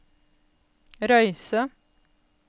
Røyse